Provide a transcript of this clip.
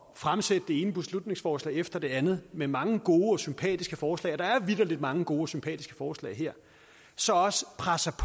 fremsætte det ene beslutningsforslag efter det andet med mange gode og sympatiske forslag og der er vitterlig mange gode og sympatiske forslag her så også presser